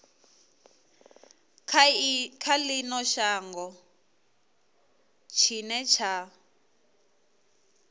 kha ino shango tshine tsha